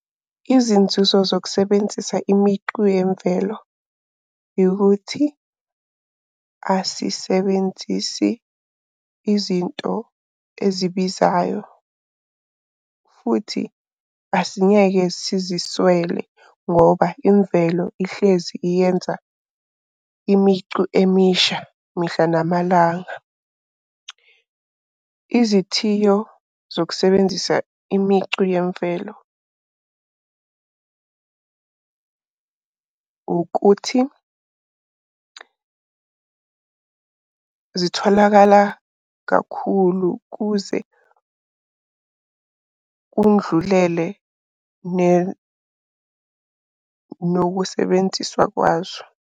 Izinzuzo zokusebenzisa imicu yemvelo. Yukuthi asisebenzisi izinto ezibizayo futhi asingeke siziswele ngoba imvelo ihlezi iyenza imicu emisha mihla namalanga. Izithiyo zokusebenzisa imicu yemvelo ukuthi zitholakala kakhulu kuze kundlulele nokusebenziswa kwazo.